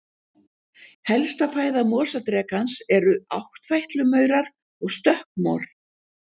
Helsta fæða mosadrekans eru áttfætlumaurar og stökkmor.